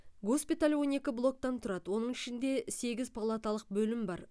госпиталь он екі блоктан тұрады оның ішінде сегіз палаталық бөлім бар